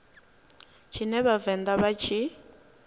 tshine vha vhavenḓa vha tshi